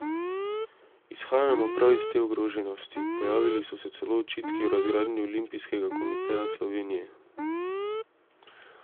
Izhajajmo prav iz te ogroženosti, pojavili so se celo očitki o razgradnji Olimpijskega komiteja Slovenije.